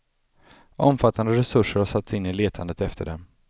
Omfattande resurser har satts in i letandet efter dem.